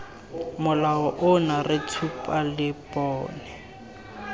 molao ono re tshuba lebone